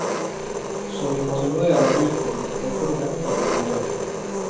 Så vi manøvrerer ut på balkongen for å ta bilder.